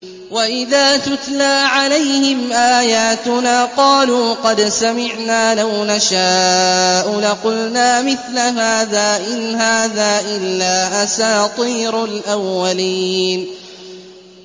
وَإِذَا تُتْلَىٰ عَلَيْهِمْ آيَاتُنَا قَالُوا قَدْ سَمِعْنَا لَوْ نَشَاءُ لَقُلْنَا مِثْلَ هَٰذَا ۙ إِنْ هَٰذَا إِلَّا أَسَاطِيرُ الْأَوَّلِينَ